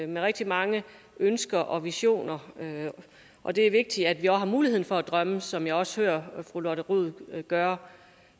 med rigtig mange ønsker og visioner og det er vigtigt at vi også har mulighed for at drømme som jeg også hører fru lotte rod gøre